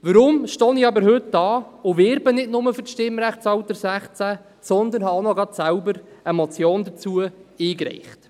Weshalb stehe ich aber heute hier und werbe nicht nur für das Stimmrechtsalter 16, sondern habe auch noch selbst eine Motion dazu eingereicht?